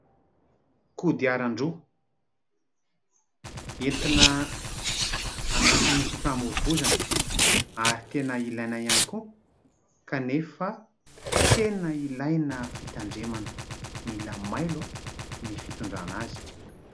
Kodiaran-droa, entina anatin'ny fifamoivozana ary tena ilaina ihany koa kanefa tena ilaina fitandremana, mila mailo ny fitondrana azy.